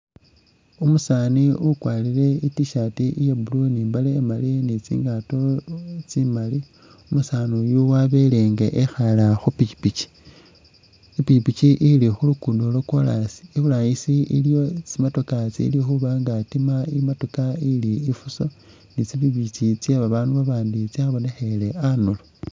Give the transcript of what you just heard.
Umusaani ukwarire i’tshirt iya blue ni imbale imaali ili ni tsingaato tsimaali umusaani yu wabele nga ikhaala khu pikyipikyi , ipikyipikyi ili khuluguudo lwa koraasi iburangisi iliyo tsi'motoka tsili khuba nga tsitiima imotoka ili ifuso ni tsi'pikyipikyi tse babaandu babandi tsabonekhele anduro.